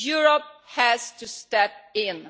Europe has to step in.